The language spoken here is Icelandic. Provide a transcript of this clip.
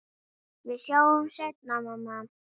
Við sjáumst seinna, mamma.